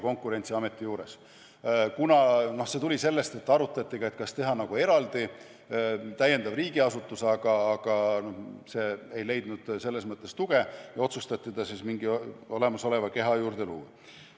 See tuli sellest, et arutati ka, kas teha eraldi uus riigiasutus, aga see mõte ei leidnud tuge ja siis otsustati ta mingi olemasoleva keha juurde luua.